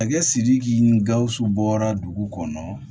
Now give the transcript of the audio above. Masakɛ sidiki ni gawusu bɔra dugu kɔnɔ